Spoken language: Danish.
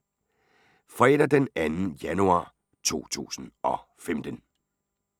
Fredag d. 2. januar 2015